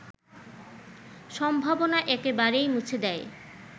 সম্ভাবনা একেবারেই মুছে দেয়